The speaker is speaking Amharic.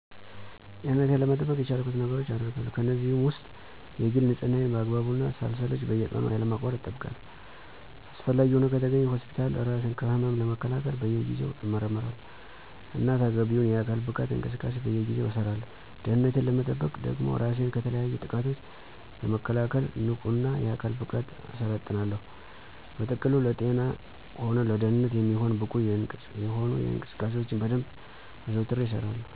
ጤንነቴን ለመጠበቅ የቻልኩትን ነገሮች አገርጋለሁ። ከእነዚህም ውስጥ የግል ንፅህናየን በአግባቡ እና ሳልሰለች በየቀኑ ያለማቋረጥ እጠብቃለሁ። አስፈላጊ ሆኖ ከተገኘ ሆስፒታል እራስ ከህመም ለመከላከል በየጊዜው እመረመራለሁ። እና ተገቢውን የአካል ብቃት እንቅስቃሴ በየጊዜው እሠራለሁ። ደህንነቴን ለመጠበቅ ደግሞ እራሴን ከተለያዩ ጥቃቶች ለመከላከል ንቁ እና የአካል ብቃት እሠለጥናለሁ። በጥቅሉ ለጤና ሆነ ለደንነት የሚሆን ብቁ የሆኑ እንቅስቃሴዎችን በደንብ አዘውትሬ እሰራለሁ።